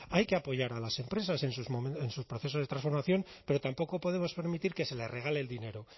hay que apoyar a las empresas en sus procesos de transformación pero tampoco podemos permitir que se les regalé el dinero